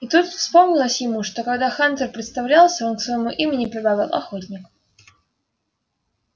и тут вспомнилось ему что когда хантер представлялся он к своему имени прибавил охотник